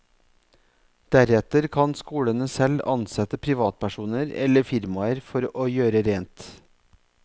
Deretter kan skolene selv ansette privatpersoner eller firmaer for å gjøre rent.